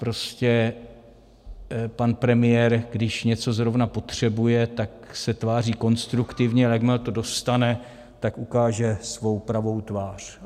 Prostě pan premiér, když něco zrovna potřebuje, tak se tváří konstruktivně, ale jakmile to dostane, tak ukáže svou pravou tvář.